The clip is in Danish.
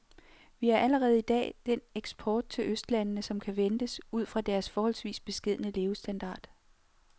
Vi har allerede i dag den eksport til østlandene, som kan ventes ud fra deres forholdsvis beskedne levestandard.